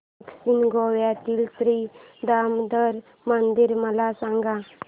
दक्षिण गोव्यातील श्री दामोदर मंदिर मला सांग